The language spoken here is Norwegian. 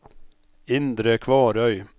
Indre Kvarøy